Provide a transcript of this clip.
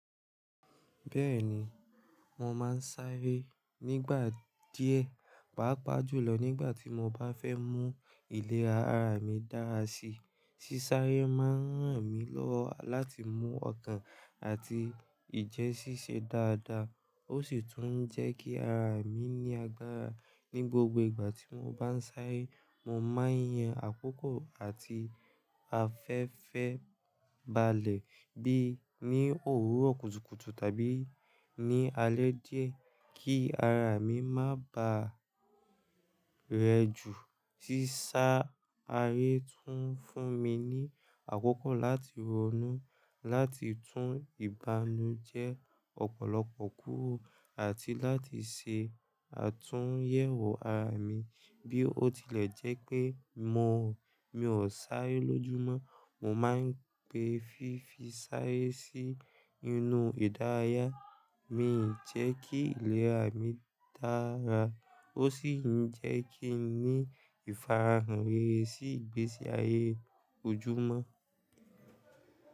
Bẹ́ẹ̀ni, mo máa ń sáré nígbà díẹ̀, pàápàá jùlọ nígbà tí mo bá fẹ́ mú ìlera ara mi dára sí. Sísáré máa ń ràn mí lọ́wọ́ láti mú ọkàn àti ìjẹ́ ṣíṣe dáadáa, ó sì tún ń jẹ́ kí ara mi ní agbára. Ni gbogbo ìgbà tí mo bá ń sáré, mo máa ń yan àkókò àti afẹ́fẹ́ balẹ̀ bíi ní òwúrọ̀ kùtùkùtù tàbí ní alẹ́ díẹ̀ kí ara mi má ba rẹ jù. Sísá aré tún ń fúnmi ní àkókò láti ronú láti tún ìbànújẹ ọ̀pọ̀lọpọ̀ kúrò àti láti ṣe àtúnyẹ̀wò ara mii. Bí ó tilẹ̀ jẹ́ pé mò mi ó sáré lójúmọ́, mo máa ń gbé fífi sáré sí inú ìdárayá mi. N jẹ́ kí ìlera mi dára, o sì ń jẹ́ kí n ní ìfara hàn rere sí ìgbésí ayé ojúmó.